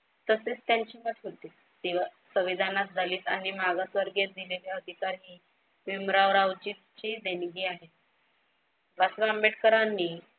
तसेच त्यांची संविधानात दलित आणि मागासवर्गीय दिलेले अधिकार हि भीमराव रावजीची देणगी आहे.